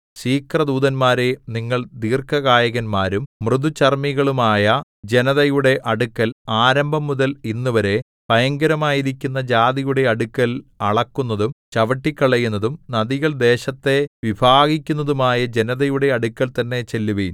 ശീഘ്രദൂതന്മാരേ നിങ്ങൾ ദീർഘകായന്മാരും മൃദുചർമ്മികളുമായ ജനതയുടെ അടുക്കൽ ആരംഭംമുതൽ ഇന്നുവരെ ഭയങ്കരമായിരിക്കുന്ന ജാതിയുടെ അടുക്കൽ അളക്കുന്നതും ചവിട്ടിക്കളയുന്നതും നദികൾ ദേശത്തെ വിഭാഗിക്കുന്നതുമായ ജനതയുടെ അടുക്കൽ തന്നെ ചെല്ലുവിൻ